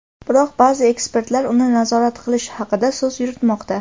Biroq ba’zi ekspertlar uni nazorat qilish haqida so‘z yuritmoqda.